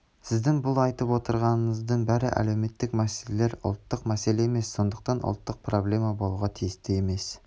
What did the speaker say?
сіздің бұл айтып отырғандарыңыздың бәрі әлеуметтк мәселелер ұлттық мәселе емес сондықтан ұлттық проблема болуға тисті емес